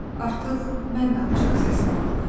Artıq mən də alçaq səslə ağlayıram.